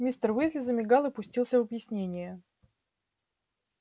мистер уизли замигал и пустился в объяснение